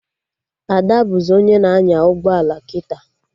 Ada bụzị onye na-anya ụgbọelu kịta